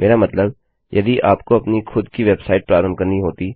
मेरा मतलब यदि आपको अपनी खुद की वेबसाइट प्रारंभ करनी होती